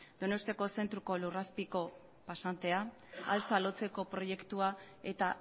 donostiako zentruko lurrazpiko pasantea altza lotzeko proiektu eta